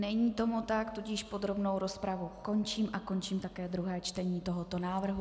Není tomu tak, tudíž podrobnou rozpravu končím a končím také druhé čtení tohoto návrhu.